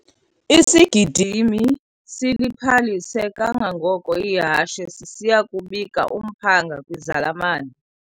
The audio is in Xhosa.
Isigidimi siliphalise kangangoko ihashe sisiya kubika umphanga kwizalamane.